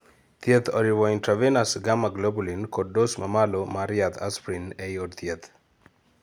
thieth oriwo intravenous gamma globulin kod dose ma malomar yadh asprin ei od thieth